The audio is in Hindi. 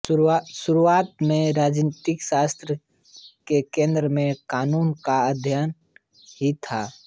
शुरुआत में राजनीतिशास्त्र के केंद्र में कानून का अध्ययन ही था